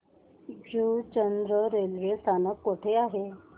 Juchandra railway स्थानक कुठे आहे